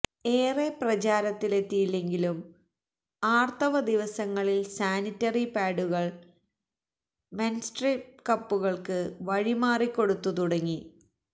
ഏറെ പ്രചാരത്തിലെത്തിയില്ലെങ്കിലും ആര്ത്തവ ദിവസങ്ങളില് സാനിറ്ററി പാഡുകള് മെന്സ്ട്ര്വല് കപ്പുകള്ക്ക് വഴിമാറിക്കൊടുത്തു തുടങ്ങി